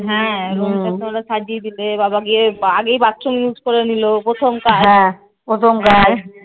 হ্যাঁ room টা তোমরা সাজিয়ে দিলে গিয়ে বাবা গিয়ে আগেই bathroom use করে নিলো প্রথম কাজ